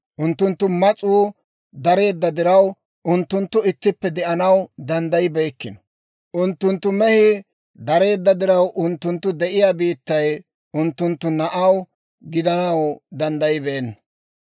Unttunttu mas'uu dareedda diraw, unttunttu ittippe de'anaw danddayibeykkino; unttunttu mehii dareedda diraw, unttunttu de'iyaa biittay unttunttu mehiyaw gidanaw danddayibeenna.